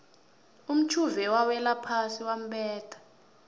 umtjhuve wawelaphasi wambetha